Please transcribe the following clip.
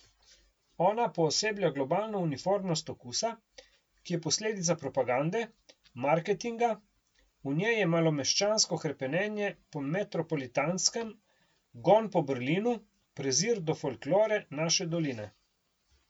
Ona pooseblja globalno uniformnost okusa, ki je posledica propagande, marketinga, v njej je malomeščansko hrepenenje po metropolitanskem, gon po Berlinu, prezir do folklore naše doline.